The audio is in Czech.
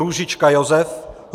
Růžička Josef